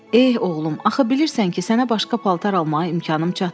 Eh, oğlum, axı bilirsən ki, sənə başqa paltar almağa imkanım çatmır.